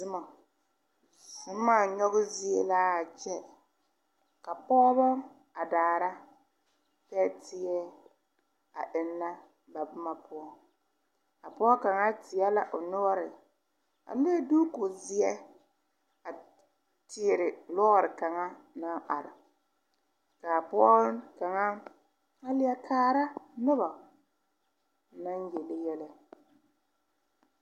Zuma nyoge zie laa kyɛ ka pogebɔ a daara pɛɛteɛ a eŋnɛ ba bomma poɔ a pɔɔ kaŋa teɛ la o noɔre a le duuku zeɛ a Kyiire lɔre kaŋa naŋ are kaa pɔɔ kaŋa a lieɛ kaara nobɔ naŋ yele yɛlɛ.